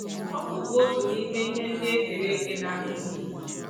Ọkụ bụ otu n’ime ihe ndị e kere eke na-akpa ike